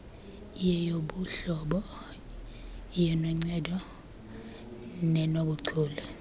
iyeyobuhlobo iyenoncedo nenobuchule